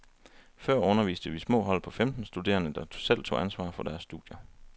Før underviste vi små hold på femten studerende, der selv tog ansvar for deres studier.